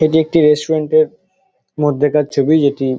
এটি একটি রেস্টুরেন্ট -এর মধ্যেকার ছবি যেটি--